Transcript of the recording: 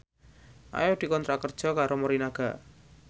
Ayu dikontrak kerja karo Morinaga